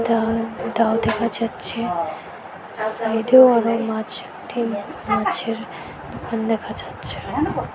এটা দাও দেখা যাচ্ছে সাইডেও অনেক মাছ মাঠে মাছের দোকান দেখা যাচ্ছে।